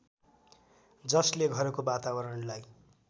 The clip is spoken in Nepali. जसले घरको वातावरणलाई